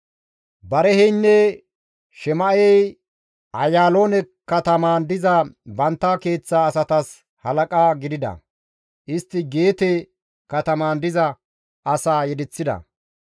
Bariheynne Shema7ey Ayaaloone katamaan diza bantta keeththa asatas halaqa gidida; istti Geete katamaan diza asaa yedeththida.